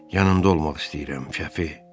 Yanında olmaq istəyirəm, Şəfi.